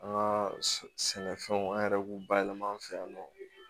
An ka sɛnɛfɛnw an yɛrɛ b'u bayɛlɛma an fɛ yan nɔ